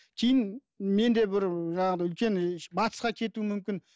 кейін мен де бір жаңағыдай үлкен і батысқа кетуім мүмкін